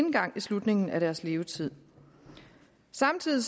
slutningen af deres levetid samtidig